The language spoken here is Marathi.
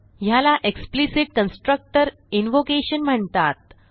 ह्याला एक्सप्लिसिट कन्स्ट्रक्टर इन्व्होकेशन म्हणतात